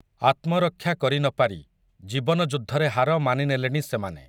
ଆତ୍ମରକ୍ଷା କରି ନ ପାରି, ଜୀବନ ଯୁଦ୍ଧରେ ହାର ମାନି ନେଲେଣି ସେମାନେ ।